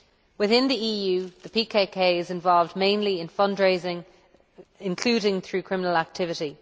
Within the EU, the PKK is involved mainly in fund raising, including through criminal activity.